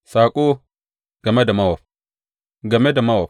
Saƙo game da Mowab Game da Mowab.